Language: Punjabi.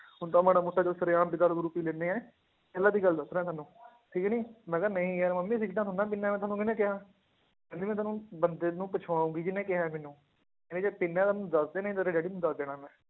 ਹੁਣ ਤਾਂ ਮਾੜਾ ਮੋਟਾ ਚੱਲ ਸ਼ੇਰਆਮ ਵੀ ਦਾਰੂ ਦੂਰੂ ਪੀ ਲੈਂਦੇ ਹੈ, ਪਹਿਲਾਂ ਦੀ ਗੱਲ ਦੱਸ ਰਿਹਾਂ ਤੁਹਾਨੂੰ ਠੀਕ ਨੀ ਮੈਂ ਕਿਹਾ ਨਹੀਂ ਯਾਰ ਮੰਮੀ ਸਿਗਰਟਾਂ ਥੋੜ੍ਹੀ ਨਾ ਪੀਨਾ ਮੈਂ, ਤੁਹਾਨੂੰ ਕਿਹਨੇੇ ਕਿਹਾ, ਕਹਿੰਦੀ ਮੈਂ ਤੈਨੂੰ ਬੰਦੇ ਨੂੰ ਪੁੱਛਵਾਊਂਗੀ ਜਿੰਨੇ ਕਿਹਾ ਹੈ ਮੈਨੂੰ, ਕਹਿੰਦੀ ਜੇ ਪੀਨਾ ਹੈ ਤਾਂ ਮੈਨੂੰ ਦੱਸ ਦੇ, ਨਹੀਂ ਤੇਰੇ ਡੈਡੀ ਨੂੰ ਦੱਸ ਦੇਣਾ ਹੈ ਮੈਂ